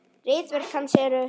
Ritverk hans eru